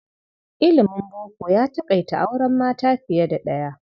Ilimin boko ya taƙaita auren mata fiye da ɗaya.